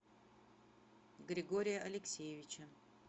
григория алексеевича